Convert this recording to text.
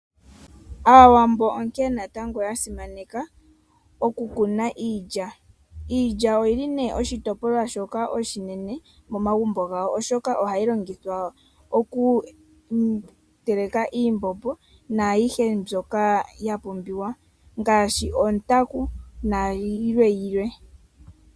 Aawambo onkee natango yasimaneka okukuna iilya. Iilya oyili nee oshitopolwa shoka oshinene oshoka ohayi longithwa oku teleka iimbombo naayihe mbyoka yapumbiwa ngaashi ontaku nayilwe.